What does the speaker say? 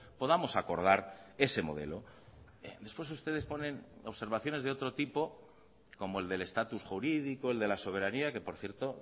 podamos acordar ese modelo después ustedes ponen observaciones de otro tipo como el del estatus jurídico el de la soberanía que por cierto